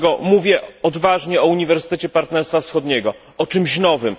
Dlatego mówię odważnie o Uniwersytecie Partnerstwa Wschodniego, o czymś nowym.